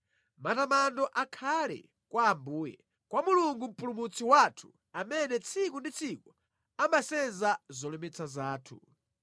Matamando akhale kwa Ambuye, kwa Mulungu Mpulumutsi wathu amene tsiku ndi tsiku amasenza zolemetsa zathu.